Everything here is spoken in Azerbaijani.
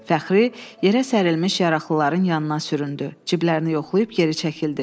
Fəxri, yerə sərilmiş yaralıların yanına süründü, cibləri yoxlayıb geri çəkildi.